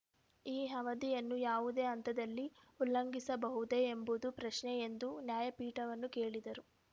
ಈ ಅವಧಿಯನ್ನು ಯಾವುದೇ ಹಂತದಲ್ಲಿ ಉಲ್ಲಂಘಿಸಬಹುದೇ ಎಂಬುದು ಪ್ರಶ್ನೆ ಎಂದು ನ್ಯಾಯಪೀಠವನ್ನು ಕೇಳಿದರು